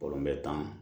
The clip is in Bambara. tan